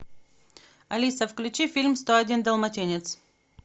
алиса включи фильм сто один далматинец